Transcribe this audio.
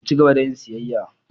Mu ci gaba da yin siyayya.